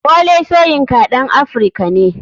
Wole soyinka ɗan africa ne.